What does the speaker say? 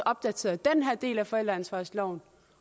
opdateret den her del af forældreansvarsloven